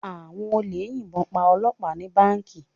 Àwọn olè yìnbọn pa Ọlọpa ni Báǹkì.